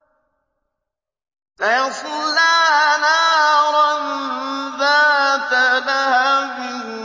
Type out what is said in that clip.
سَيَصْلَىٰ نَارًا ذَاتَ لَهَبٍ